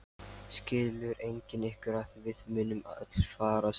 Skilur enginn ykkar að við munum öll farast?